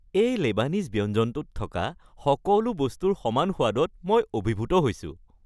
এই লেবানিজ ব্যঞ্জনটোত থকা সকলো বস্তুৰ সমান সোৱাদত মই অভিভূত হৈছোঁ।